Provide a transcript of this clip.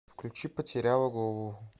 включи потеряла голову